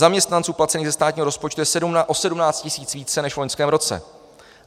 Zaměstnanců placených ze státního rozpočtu je o 17 tisíc více než v loňském roce.